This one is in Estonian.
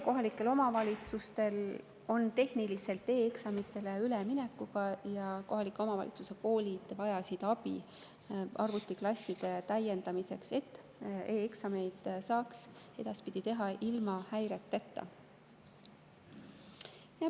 Kohalikel omavalitsustel on tehniline probleem e‑eksamitele üleminekuga ja kohalike omavalitsuste koolid vajasid abi arvutiklasside täiendamiseks, et e‑eksameid saaks edaspidi teha ilma häireteta.